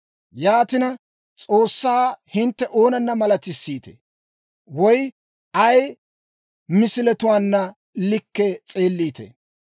Yaatina, S'oossaa hintte oonana malatissiitee? Woy ay misiletuwaanna likkii s'eelliitee?